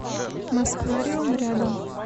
москвариум рядом